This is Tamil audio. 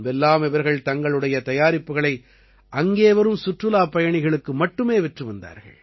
முன்பெல்லாம் இவர்கள் தங்களுடைய தயாரிப்புக்களை அங்கே வரும் சுற்றுலாப் பயணிகளுக்கு மட்டுமே விற்று வந்தார்கள்